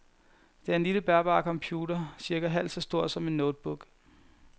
Det er en lille bærbar computer, cirka halvt så stor som en notebook.